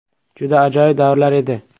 Juda ajoyib davrlar edi.